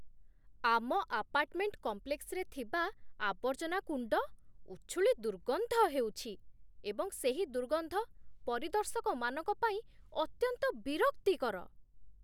ଆମ ଆପାର୍ଟମେଣ୍ଟ କମ୍ପ୍ଲେକ୍ସରେ ଥିବା ଆବର୍ଜନା କୁଣ୍ଡ ଉଛୁଳି ଦୁର୍ଗନ୍ଧ ହେଉଛି ଏବଂ ସେହି ଦୁର୍ଗନ୍ଧ ପରିଦର୍ଶକମାନଙ୍କ ପାଇଁ ଅତ୍ୟନ୍ତ ବିରକ୍ତିକର।